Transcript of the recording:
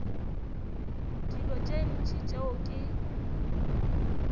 dilo tše ntši tšeo ke